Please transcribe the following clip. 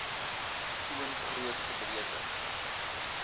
toon groot gebreke